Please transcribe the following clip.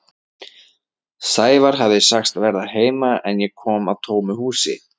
Sævar hafði sagst verða heima en ég kom að tómu húsi.